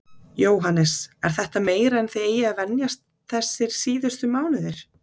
Jóhannes: Er þetta meira en þið eigið að venjast þessir síðustu mánuðir?